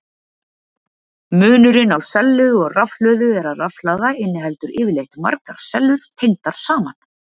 Munurinn á sellu og rafhlöðu er að rafhlaða inniheldur yfirleitt margar sellur tengdar saman.